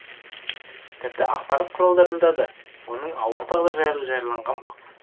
тіпті ақпарат құралдарында да оның ауыр тағдыры жайлы жарияланған болатын